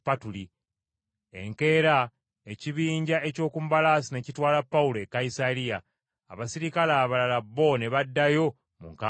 Enkeera ekibinja eky’oku mbalaasi ne kitwala Pawulo e Kayisaliya, abaserikale abalala bo ne baddayo mu nkambi yaabwe.